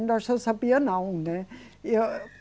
sabia não, né. E eu